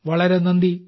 വളരെ നന്ദി